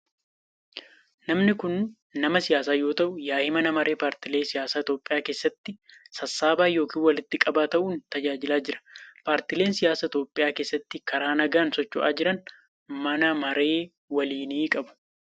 Namni kun nama siyaasaa yoo ta'u yaa'ii mana maree paartilee siyaasaa Itoophiyaa keessatti sassaabaa yokin walitti qabaa ta'uun tajaajilaa jira. Paartileen siyaasaa Itoophiyaa keessatti karaa nagaan socho'aa jiran mana maree waliinii qabu.